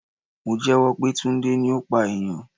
Mo jẹ́wọ́ pé Tunde ni ó pa ènìyàn.